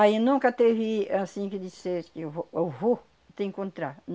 Aí nunca teve assim que dissesse que eu vou, eu vou te encontrar.